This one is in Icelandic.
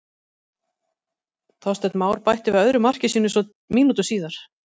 Þorsteinn Már bætti við öðru marki sínu svo mínútu síðar.